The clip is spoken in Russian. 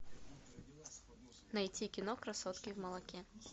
найти кино красотки в молоке